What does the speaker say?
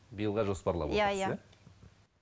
биылға жоспарлап отырсыз